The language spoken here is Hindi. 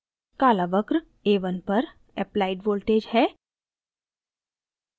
काला वक्र a1 पर applied voltage है